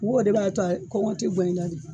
N ko o de b'a to kɔngɔ tɛ guwan i la de.